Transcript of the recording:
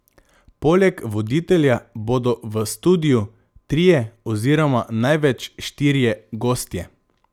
Poleg voditelja bodo v studiu trije oziroma največ štirje gostje.